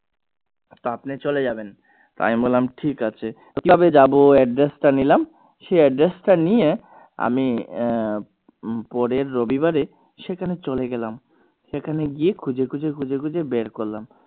তো আপনি চলে যাবেন আমি বললাম ঠিক আছে তো কিভাবে যাবো address টা নিলাম সেই address টা নিলাম আমি আহ পরের রবিবারে সেখানে চলে গেলাম সেখানে গিয়ে খুঁজে খুঁজে খুঁজে খুঁজে বের করলাম।